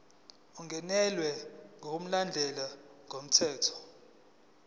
ungenelwe ngokulandela umthetho